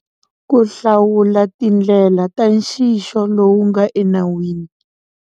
Ku hlawula tindlela ta nxixo lowu nga enawini.